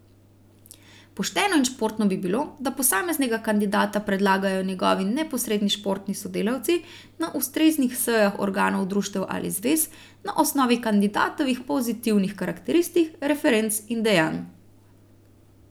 Pošteno in športno bi bilo, da posameznega kandidata predlagajo njegovi neposredni športni sodelavci na ustreznih sejah organov društev ali zvez, na osnovi kandidatovih pozitivnih karakteristik, referenc in dejanj.